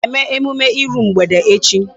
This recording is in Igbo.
Anyị ga-eme emume iru mgbede echi.